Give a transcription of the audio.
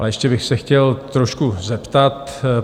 Ale ještě bych se chtěl trošku zeptat.